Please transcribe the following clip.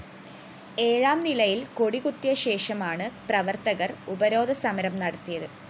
ഏഴാം നിലയില്‍ കൊടികുത്തിയശേഷമാണ് പ്രവര്‍ത്തകര്‍ ഉപരോധസമരം നടത്തിയത്